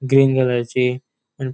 ग्रीन कलरची आ --